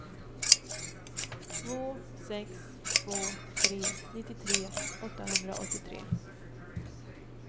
två sex två tre nittiotre åttahundraåttiotre